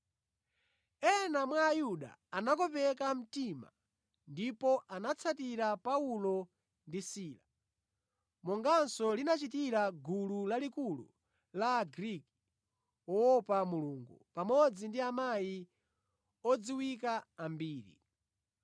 Ena mwa Ayuda anakopeka mtima ndipo anatsatira Paulo ndi Sila, monganso linachitira gulu lalikulu la Agriki woopa Mulungu, pamodzi ndi amayi odziwika ambiri.